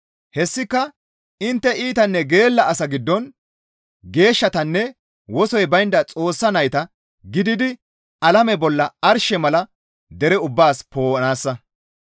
Hessika intte iitanne geella asa giddon geeshshatanne wosoy baynda Xoossa nayta gididi alame bolla arshe mala dere ubbaas poo7anaassa.